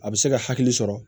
A bɛ se ka hakili sɔrɔ